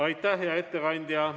Aitäh, hea ettekandja!